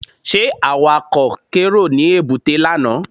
Ṣé Awakọ̀ kérò ní èbúté lánàá?